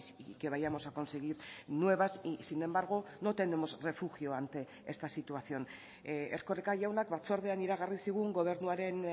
y que vayamos a conseguir nuevas y sin embargo no tenemos refugio ante esta situación erkoreka jaunak batzordean iragarri zigun gobernuaren